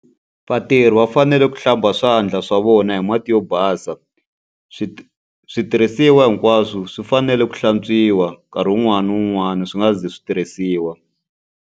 Vatirhi va fanele ku hlamba swandla swa vona hi mati yo basa. switirhisiwa hinkwaswo swi fanele ku hlantswiwa nkarhi wun'wani na wun'wani swi nga si za swi tirhisiwa.